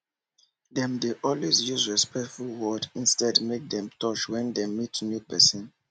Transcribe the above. dem dey always use respectful word instead make dem touch when dem meet new pesin